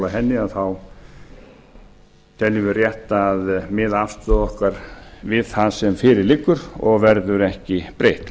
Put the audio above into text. henni þá teljum við rétt að miða afstöðu okkar við það sem fyrir liggur og verður ekki breytt